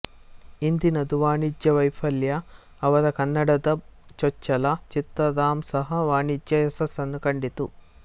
ಹಿಂದಿನದು ವಾಣಿಜ್ಯ ವೈಫಲ್ಯ ಅವರ ಕನ್ನಡದ ಚೊಚ್ಚಲ ಚಿತ್ರ ರಾಮ್ ಸಹ ವಾಣಿಜ್ಯ ಯಶಸ್ಸನ್ನು ಕಂಡಿತು